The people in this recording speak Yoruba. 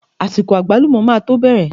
Àsìkò àgbálùmọ́ máa to bẹ̀rẹ̀.